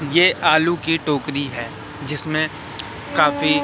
यह आलू की टोकरी है जिसमें काफी--